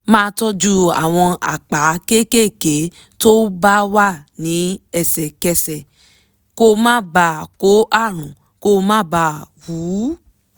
máa tọ́jú àwọn àpá kéékèèké tó bá wà ní ẹsẹ̀kẹsẹ̀ kó má bàa kó àrùn kó má bàa wú